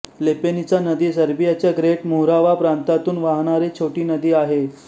लेपेनिचा नदी सर्बियाच्या Great Morava प्रांतातून वाहणारी छोटी नदी आहे